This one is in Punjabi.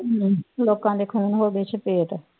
ਲੋਕਾਂ ਦੇ ਖੂਹ ਨੂੰ ਉਹਦੇ ਚ ਪੇਟ